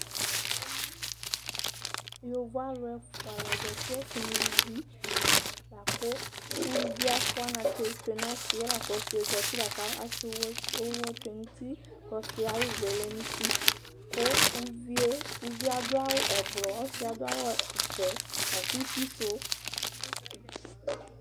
Yovo aãlu ɛfua la zãti: ɔsi nu uluvi Laku uluvi yɛ afua anatsɛ tsue nu ɔsiɛ, ku ɔsiyɛ zãti Laku ɔsiɛ zãti laka asɛ ũvũ tsue nu ũtí, ku ɔsiyɛ ayuvu yɛ le nu ũtí Ku uvie uvie aɖu awu ɛbuɛ, ku ɔsiyɛ aɖu awu iɖzɛ laku ũtí suɛ